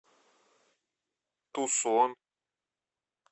тусон